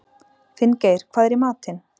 Finngeir, hvað er í matinn?